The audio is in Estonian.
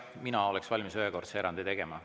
Mina oleksin valmis ühekordse erandi tegema.